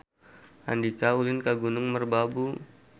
Andika ulin ka Gunung Merbabu